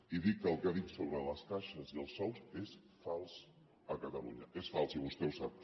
i dic que el que ha dit sobre les caixes i els sous és fals a catalunya és fals i vostè ho sap